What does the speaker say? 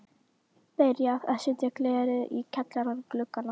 Byrjað að setja glerið í kjallara gluggana.